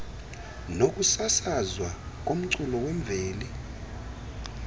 nokusasazwa komculo wemveli